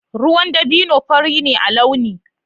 Ruwan dabino fari ne a launi.